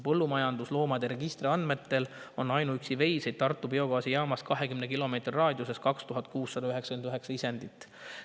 Põllumajandusloomade registri andmetel on ainuüksi veiseid Tartu biogaasijaamast 20 kilomeetri raadiuses 2699 isendit.